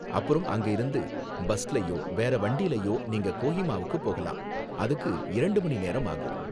அப்புறம் அங்க இருந்து பஸ்லயோ வேற வண்டிலயோ நீங்க கோஹிமாவுக்கு போகலாம். அதுக்கு இரண்டு மணி நேரம் ஆகும்.